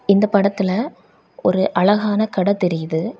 இந்தப் படத்துல ஒரு அழகான கடை தெரியுது.